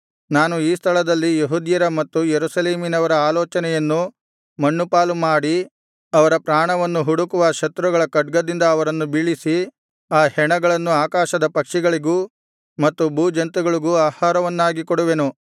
ನಾನು ಈ ಸ್ಥಳದಲ್ಲಿ ಯೆಹೂದ್ಯರ ಮತ್ತು ಯೆರೂಸಲೇಮಿನವರ ಆಲೋಚನೆಯನ್ನು ಮಣ್ಣುಪಾಲುಮಾಡಿ ಅವರ ಪ್ರಾಣವನ್ನು ಹುಡುಕುವ ಶತ್ರುಗಳ ಖಡ್ಗದಿಂದ ಅವರನ್ನು ಬೀಳಿಸಿ ಆ ಹೆಣಗಳನ್ನು ಆಕಾಶದ ಪಕ್ಷಿಗಳಿಗೂ ಮತ್ತು ಭೂಜಂತುಗಳಿಗೂ ಆಹಾರವನ್ನಾಗಿ ಮಾಡುವೆನು